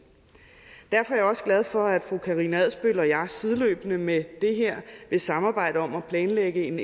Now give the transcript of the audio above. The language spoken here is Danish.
derfor er jeg også glad for at fru karina adsbøl sideløbende med det her vil samarbejde om at planlægge en